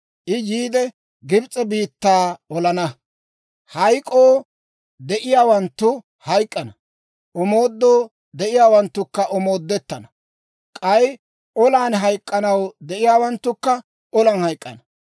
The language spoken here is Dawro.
I yiide Gibs'e biittaa olana. Hayk'k'oo de'iyaawanttu hayk'k'ana; omoodoo de'iyaawanttukka omoodettana; k'ay olan hayk'k'anaw de'iyaawanttukka olan hayk'k'ana.